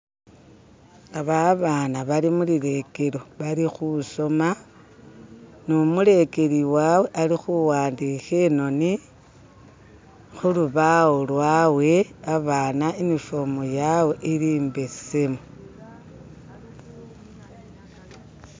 Aba abana bali mulilekelo bali khusoma no'omulekeli wawe ali khuwandikha e'noni khulubawo lwawe, abana unifomu yawe ili imbesemu.